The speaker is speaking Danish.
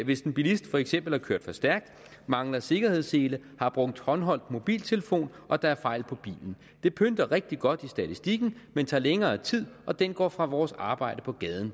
hvis en bilist for eksempel har kørt for stærkt mangler sikkerhedssele har brugt håndholdt mobiltelefon og der er fejl på bilen det pynter rigtig godt i statistikken men tager længere tid og den går fra vores arbejde på gaden